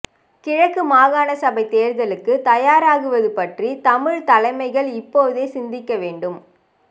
கிழக்கு மாகாண சபைத் தேர்தலுக்கு தயாராகுபது பற்றி தமிழ்த் தலைமைகள் இப்போதே சிந்திக்க வேண்டும்